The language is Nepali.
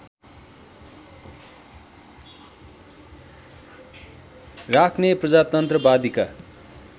राख्ने प्रजातन्त्रवादीका